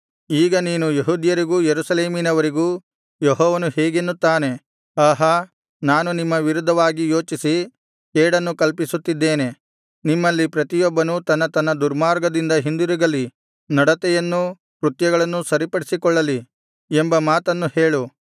ಈಗ ನೀನು ಯೆಹೂದ್ಯರಿಗೂ ಯೆರೂಸಲೇಮಿನವರಿಗೂ ಯೆಹೋವನು ಹೀಗೆನ್ನುತ್ತಾನೆ ಆಹಾ ನಾನು ನಿಮ್ಮ ವಿರುದ್ಧವಾಗಿ ಯೋಚಿಸಿ ಕೇಡನ್ನು ಕಲ್ಪಿಸುತ್ತಿದ್ದೇನೆ ನಿಮ್ಮಲ್ಲಿ ಪ್ರತಿಯೊಬ್ಬನೂ ತನ್ನ ತನ್ನ ದುರ್ಮಾರ್ಗದಿಂದ ಹಿಂದಿರುಗಲಿ ನಡತೆಯನ್ನೂ ಕೃತ್ಯಗಳನ್ನೂ ಸರಿಪಡಿಸಿಕೊಳ್ಳಲಿ ಎಂಬ ಮಾತನ್ನು ಹೇಳು